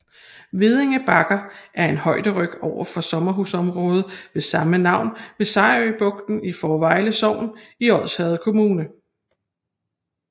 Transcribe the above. Veddinge Bakker er en højderyg ovenfor sommerhusområdet med samme navn ved Sejerø Bugt i Fårevejle Sogn i Odsherred Kommune